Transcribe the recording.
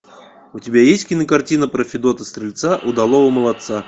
у тебя есть кинокартина про федота стрельца удалого молодца